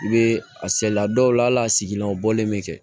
I bɛ a saliya dɔw la hal'a sigilanw bɔlen bɛ kɛ